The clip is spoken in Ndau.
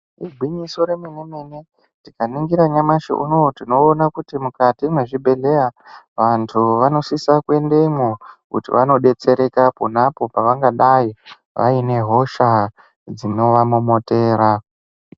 Igwinyiso rememene tikaningira nyamashi uno tinoona kuti mukati mwezvibhehlera vantu vanosisa kuendemwo kuti vanodetsereka ponapo pavangadai vane hosha dzinovamomotera.